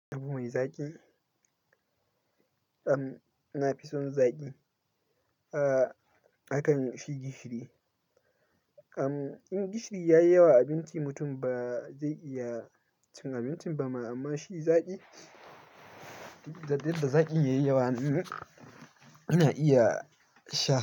Abu mai zaƙi? Amm, na fi son zaƙi a kan shi gishiri. Amm, in gishiri ya yi yawa a abinci, mutum ba zai iya cin abincin ba ma amma shi zaƙi, da yadda zaƙin yayi yawa ana iya sha.